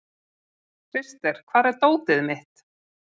Krister, hvar er dótið mitt?